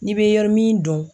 N'i bɛ yɔrɔ min dɔn.